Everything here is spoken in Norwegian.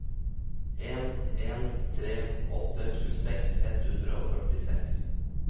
en en tre åtte tjueseks ett hundre og førtiseks